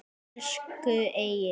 Elsku Egill.